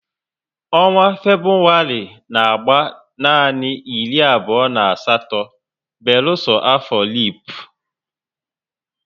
Ọnwa Febụwarị n'agba nanị iri abụo na asatọ beluso afọ lipu